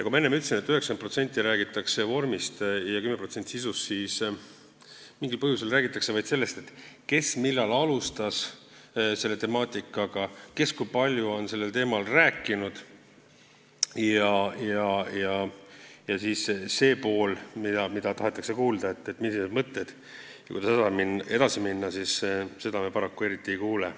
Kui ma enne ütlesin, et 90% räägitakse vormist ja 10% sisust, siis mingil põhjusel räägitakse vaid sellest, kes millal selle temaatikaga alustas, kes kui palju on sellel teemal rääkinud, ja seda poolt, mida tahetakse kuulda, et millised on mõtted ja kuidas edasi minna, me paraku eriti ei kuule.